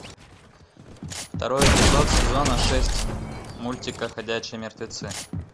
второй эпизод сезона шесть мультика ходячие мертвецы